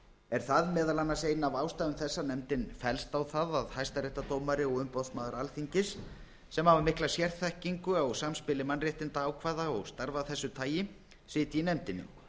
er það meðal annars ein af ástæðum þess að nefndin fellst á það að hæstaréttardómari og umboðsmaður alþingis sem hafa mikla sérþekkingu á samspili mannréttindaákvæða og starfa af þessu tagi sitji í nefndinni